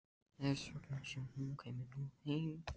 Þess vegna sem hún kæmi nú heim.